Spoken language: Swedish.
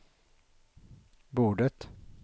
bordet